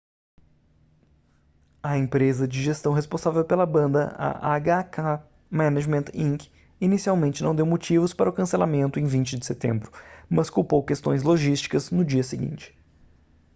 a empresa de gestão responsável pela banda a hk management inc inicialmente não deu motivos para o cancelamento em 20 de setembro mas culpou questões logísticas no dia seguinte